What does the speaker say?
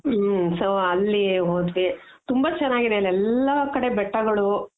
ಹ್ಮ್ಮ್ so ಅಲ್ಲಿ ಹೋದ್ವಿ ತುಂಬಾ ಚೆನಾಗಿದೆ ಅಲ್ಲೆಲ್ಲ ಕಡೆ ಬೆಟ್ಟಗಳು.